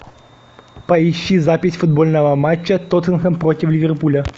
поищи запись футбольного матча тоттенхэм против ливерпуля